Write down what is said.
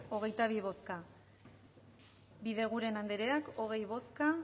hogeitabi bozka bideguren andrea hogei bozka